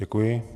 Děkuji.